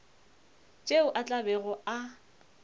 tšeo a tla bego a